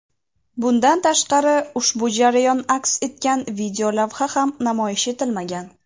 Bundan tashqari ushbu jarayon aks etgan videolavha ham namoyish etilmagan.